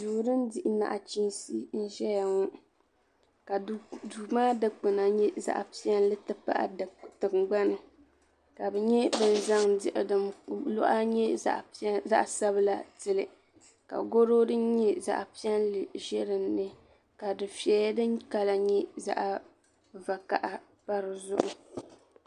Garo garo ka bin piɛlli pilli difiɛya di baa ata n pa di zuɣu di baa ayi nyɛla zaɣa vakahili ka zaɣa yini nyɛ zaɣa tankpaɣu ka bin vakahili pa garo maa zuɣu duu maa ni ka di nyɛ zaɣa piɛlli ka diɣi zaya diɣi sabinli.